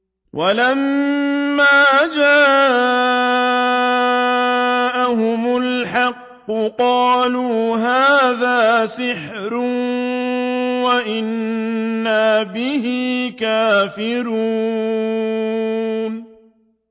وَلَمَّا جَاءَهُمُ الْحَقُّ قَالُوا هَٰذَا سِحْرٌ وَإِنَّا بِهِ كَافِرُونَ